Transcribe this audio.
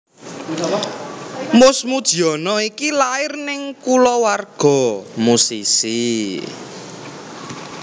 Mus Mujiono iki lair ing kulawarga musisi